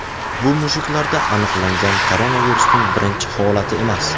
Bu mushuklarda aniqlangan koronavirusning birinchi holati emas.